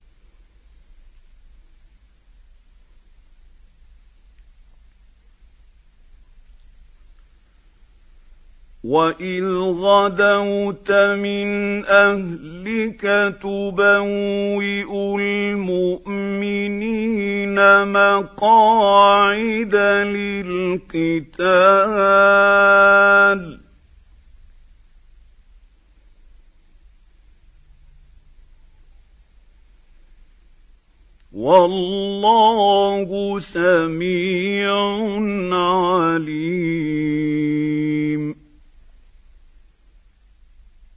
وَإِذْ غَدَوْتَ مِنْ أَهْلِكَ تُبَوِّئُ الْمُؤْمِنِينَ مَقَاعِدَ لِلْقِتَالِ ۗ وَاللَّهُ سَمِيعٌ عَلِيمٌ